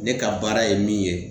Ne ka baara ye min ye